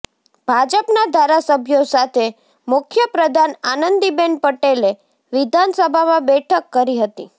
ભાજપના ધારાસભ્યો સાથે મુખ્યપ્રધાન આનંદીબેન પટેલે વિધાનસભામાં બેઠક કરી હતી